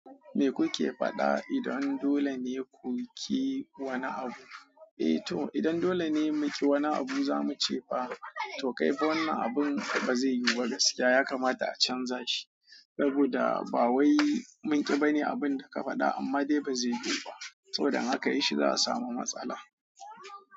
Me kuke faɗa? Idan dole ne ku ƙi wani abu, eh to idan dole ne mu ƙi wani abu za mu ce fa to kai fa wannan abun ba zai yiyu ba gaskiya. Ya kamata a canza shi saboda ba wai mun ƙi ba ne abun da ka faɗa amma dai ba zai yiyu ba saboda in aka yi shi za a samu matsala.